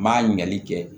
N m'a ɲali kɛ